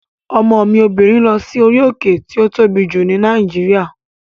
Ọmọ mi obìnrin lọ sí orí òkè tí ó tóbi jù ní Nàìjíríà